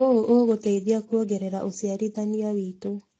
ũũ ũgũtũteithia kuongerera ũciarithania witũ.